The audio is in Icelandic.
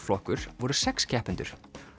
flokkur voru sex keppendur